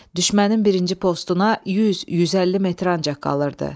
Düşmənin birinci postuna 100-150 metr ancaq qalırdı.